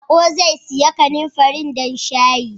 Baƙo zai sayi kanumfarin don shayin.